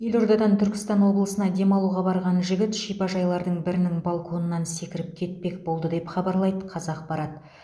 елордадан түркістан облысына демалуға барған жігіт шипажайлардың бірінің балконынан секіріп кетпек болды деп хабарлайды қазақпарат